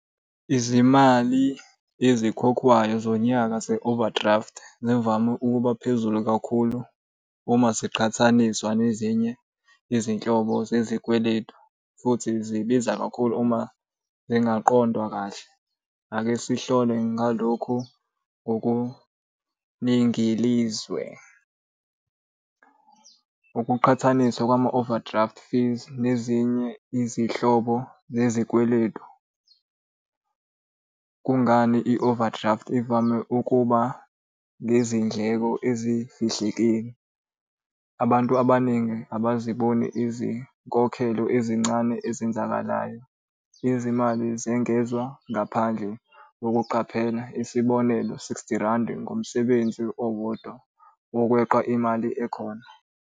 Izimali ezikhokhwayo zonyaka ze-overdraft zivame ukuba phezulu kakhulu uma ziqhathaniswa nezinye izinhlobo zezikweletu futhi zibiza kakhulu uma zingaqondwa kahle. Ake sihlole ngalokhu ngokuningilizwe. Ukuqhathaniswa kwama-overdraft fees nezinye izihlobo zezikweletu. Kungani i-overdraft ivame ukuba ngezindleko ezifihlekile? Abantu abaningi abaziboni izinkokhelo ezincane ezenzakalayo. Izimali zengezwa ngaphandle kokuqaphela, isibonelo sixty Randi ngomsebenzi owodwa wokweqa imali ekhona.